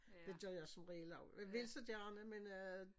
Det gør jeg som regel også jeg vil så gerne men øh